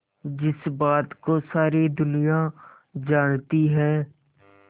जिस बात को सारी दुनिया जानती है